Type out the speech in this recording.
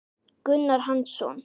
Gunnar Hansson